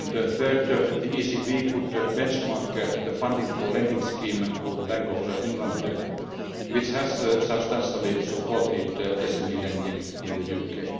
Thirdly, the ECB could benchmark the Funding for Lending Scheme of the Bank of England which has substantially supported SME lending in the